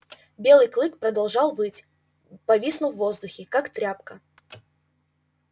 белый клык продолжал выть повиснув в воздухе как тряпка